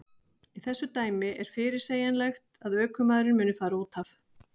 Í þessu dæmi er fyrirsegjanlegt að ökumaðurinn muni fara útaf.